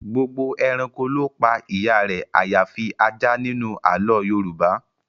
Gbogbo ẹranko ló pa ìyá rẹ àyàfi ajá nínú àlọ́ọ Yorùbá